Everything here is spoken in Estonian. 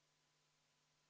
Aitäh, lugupeetud juhataja!